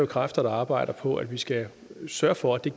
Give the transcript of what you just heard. kræfter der arbejder på at vi skal sørge for at det